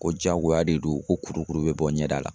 Ko jagoya de don, ko kuru kuru be bɔ ɲɛda la.